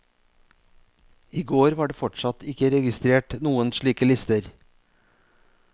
I går var det fortsatt ikke registrert noen slike lister.